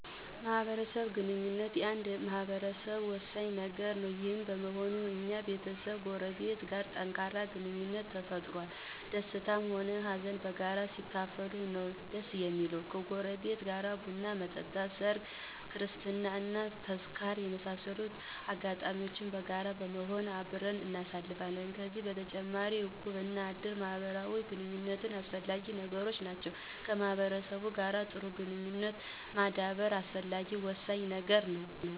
ማህበራዊ ግንኙነት ለአንድ ማህበረሰብ ወሳኝ ነገር ነው። ይህም በመሆኑ የኛም ቤተሰብ ከጎረቤት ጋር ጠንካራ ግንኙነትን ፈጥሮአል። ደስታንም ሆነ ሃዘን በጋራ ሲካፈሉት ነው ደስ እሚለው። ከጎረቤት ጋር ቡን መጠጣት፣ ሰርግ፣ ክርስትና እና ተዝካር የመሳሰሉትን አጋጣሚዎች በጋራ በመሆን አብረን እናሳልፋለን። ከዚህ በተጨማሪ እቁብ እና እድር ለማህበራዊ ግንኙነታችን አስፈላጊ ነገሮች ናቸው። ከማህበረሰቡ ጋር ጥሩ ግንኙነት ማዳበር አስፈላጊ እና ወሳኝ ነገር ነው።